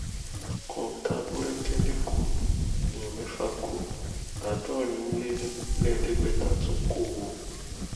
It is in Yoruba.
kọńtà búrẹkẹ lẹkọọ èèyàn mẹfà kú àádọrin lé lẹẹẹdẹgbẹta tún kọ ọ